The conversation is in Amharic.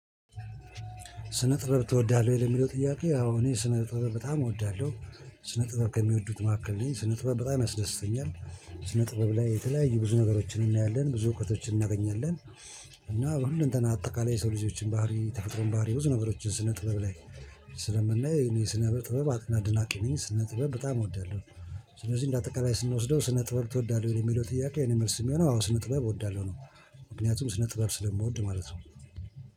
ስነ ጥበብ ትወዳለህ የሚለው ጥያቄ አዎ እኔ ስነ ጥበብ በጣም እወዳለሁ። ስነ ጥበብ ከሚወዱት መካከል ነኝ ስነ ጥበብ በጣም ያስደስተኛል። ስነ ጥበብ ላይ የተለያዩ ብዙ ነገሮችን እናያለን ብዙ እውቀቶችን እናገኛለን። በሁሉም እንተን አጠቃላይ የሰው ልጆችን ባህሪ ተፈጥሮን ባህሪ ብዙ ነበሮችን ስነ ጥበብ ላይ ስለምናየው እኔ ስነ ጥበብ አድናቂ ነኝ። ስነ ጥበብ በጣም እወዳለሁ። ስለዚህ እንደአጠቃላይ ስንወስደው ስነ ጥበብ ትወዳለህ የሚለው ጥያቄ የኔ መልስ የሚሆነው አዎ ስነ ጥበብ እወዳለሁ ነው። ምክንያቱም ስነ ጥበብ ስለምወድ ማለት ነው